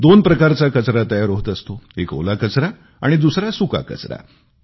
दोन प्रकारचा कचरा तयार होत असतो एक ओला कचरा आणि दुसरा सुका कचरा